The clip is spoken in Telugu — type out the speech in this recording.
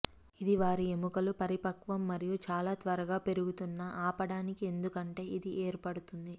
ఇది వారి ఎముకలు పరిపక్వం మరియు చాలా త్వరగా పెరుగుతున్న ఆపడానికి ఎందుకంటే ఇది ఏర్పడుతుంది